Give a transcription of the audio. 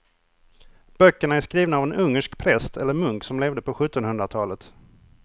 Böckerna är skrivna av en ungersk präst eller munk som levde på sjuttonhundratalet.